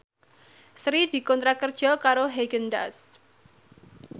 Sri dikontrak kerja karo Haagen Daazs